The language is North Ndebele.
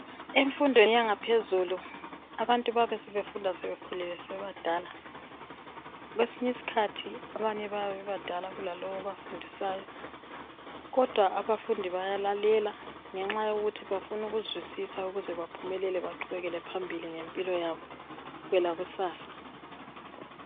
Emfundweni yangaphezulu abantu bayabe sebefunda sebekhulile sebebadala. Kwesinye isikhathi abanye bayabe bebadala kulalowu obafundisayo kodwa abafundi bayalalela ngenxa yokuthi bafuna ukuzwisisa baqhubekele phambili ngempilo yabo kwelakusasa.